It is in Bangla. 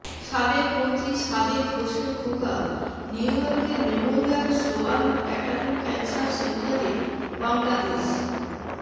সাবেক মন্ত্রী সাদেক হোসেন খোকা নিউইয়র্কের মেমোরিয়াল স্লোয়ান ক্যাটারিং ক্যান্সার সেন্টারে বাংলাদেশ